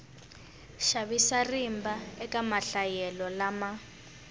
xavisa rimba eka mahlayelo lama